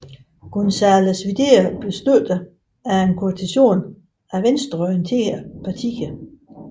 González Videla blev støttet af en koalition af venstreorienterede partier